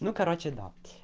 ну короче да